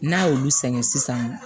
N'a y'olu sɛgɛn sisan